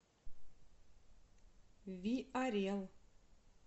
виорел